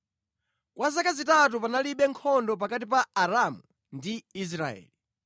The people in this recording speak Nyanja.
Kwa zaka zitatu panalibe nkhondo pakati pa Aramu ndi Israeli.